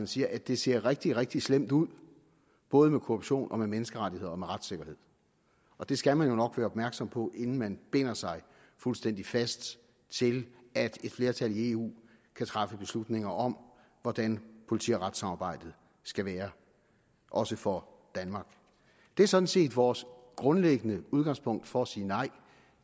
siger at det ser rigtig rigtig slemt ud både med korruption med menneskerettigheder og med retssikkerhed og det skal man jo nok være opmærksom på inden man binder sig fuldstændig fast til at et flertal i eu kan træffe beslutninger om hvordan politi og retssamarbejdet skal være også for danmark det er sådan set vores grundlæggende udgangspunkt for at sige nej